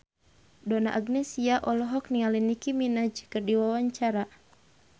Donna Agnesia olohok ningali Nicky Minaj keur diwawancara